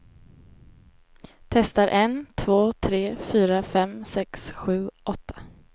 Testar en två tre fyra fem sex sju åtta.